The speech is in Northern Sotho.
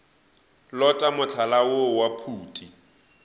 lota mohlala woo wa phuti